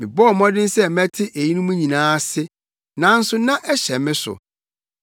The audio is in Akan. Mebɔɔ mmɔden sɛ mɛte eyinom nyinaa ase, nanso na ɛhyɛ me so